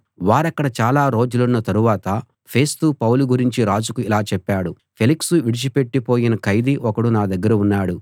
వారక్కడ చాలా రోజులున్న తరువాత ఫేస్తు పౌలు గురించి రాజుకు ఇలా చెప్పాడు ఫేలిక్సు విడిచిపెట్టి పోయిన ఖైదీ ఒకడు నా దగ్గర ఉన్నాడు